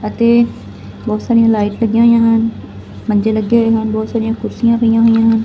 ਅਤੇ ਬਹੁਤ ਸਾਰੀਆਂ ਲਾਈਟ ਲੱਗਿਆ ਹੋਇਆ ਹਨ ਮੰਜੇ ਲੱਗੇ ਹੋਏ ਹਨ ਬਹੁਤ ਸਾਰੀਆਂ ਕੁਰਸੀਆਂ ਪਾਇਆ ਹੋਈਆਂ ਹਨ।